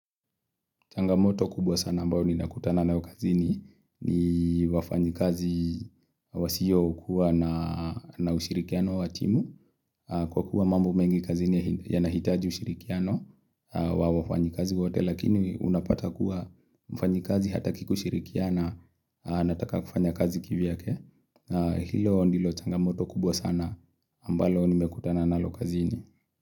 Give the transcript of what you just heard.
Changamoto kubwa sana ambao ni nakutana nayo kazini ni wafanyikazi wasio kuwa na ushirikiano wa timu. Kwa kuwa mambo mengi kazini ya nahitaji ushirikiano wa wafanyikazi wote lakini unapata kuwa mfanyikazi hata kikushirikiana anataka kufanya kazi kivyake. Hilo ndilo changamoto kubwa sana ambalo ni mekutana na lokazini.